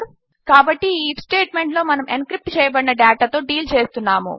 కాబట్టి ఈ IF statement లో మనము ఎన్క్రిప్ట్ చేయబడిన డేటా తో డీల్ చేస్తున్నాము